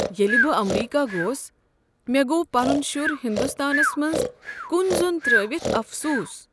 ییٚلہ بہٕ امریکہ گوس، مےٚ گوٚو پنن شُر ہندوستانس منٛز کُن زۄن ترٲوتھ افسوٗص ۔